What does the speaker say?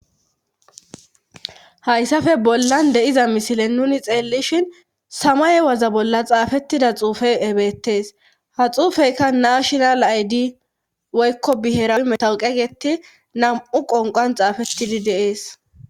Hayssafe bollan deiza misilen nuni xeellishin samaye waza bolla xaafettida xuufe ebettees ha xuufeyka naashinal aydi woykko bihera metawu qegeti nam"u qonqan xaafettidi deees